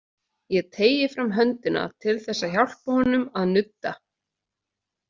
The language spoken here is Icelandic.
Ég teygi fram höndina til þess að hjálpa honum að nudda.